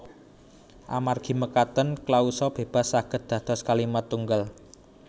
Amargi mekaten klausa bébas saged dados kalimat tunggal